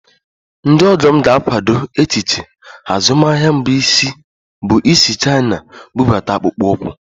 Ndị ọgọ m ga-akwado echiche azụmaahịa m bụ isi Chaina bụbata akpụkpọ ụkwụ